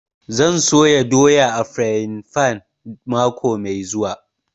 Zan soya doya a frayin fan mako mai zuwa